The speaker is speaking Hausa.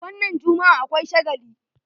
Wannan jummu'a akwai shagali.